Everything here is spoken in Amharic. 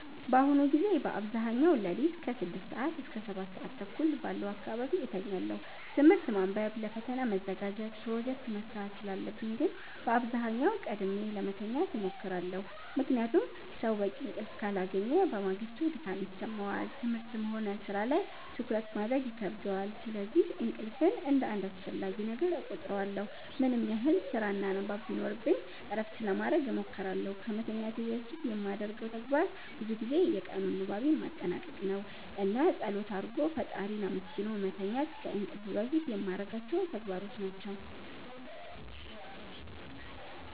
በአሁኑ ጊዜ በአብዛኛው ሌሊት ከ6 ሰዓት እስከ 7:30 ባለው አካባቢ እተኛለሁ። ትምህርት ማንበብ ለፈተና መዘጋጀት ፕሮጀክት መስራት ስላለብኝ ግን በአብዛኛው ቀድሜ ለመተኛት እሞክራለሁ። ምክንያቱም ሰው በቂ እንቅልፍ ካላገኘ በማግስቱ ድካም ይሰማዋል፣ ትምህርትም ሆነ ሥራ ላይ ትኩረት ማድረግ ይከብደዋል። ስለዚህ እንቅልፍን እንደ አንድ አስፈላጊ ነገር እቆጥረዋለሁ። ምንም ያህል ስራና ንባብ ቢኖርብኝ እረፍት ለማረግ እሞክራለሁ። ከመተኛቴ በፊት የማደርገው ተግባር ብዙ ጊዜ የቀኑን ንባቤን ማጠናቀቅ ነው። እና ፀሎት አርጎ ፈጣሪን አመስግኖ መተኛት ከእንቅልፍ በፊት የማረጋቸው ተግባሮች ናቸው።